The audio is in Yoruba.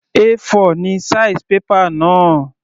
A4 ni size paper náà.